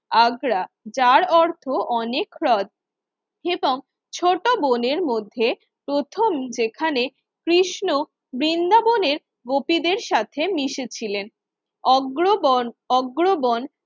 আগ্রা যার অর্থ অনেক হ্রদ এবং ছোট বোনের মধ্যে প্রথম যেখানে কৃষ্ণ বৃন্দাবনের গোপিদের সাথে মিশেছিলেন অগ্রগণ অগ্র বন